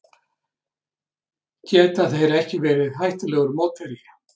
Geta þeir ekki verið hættulegur mótherji?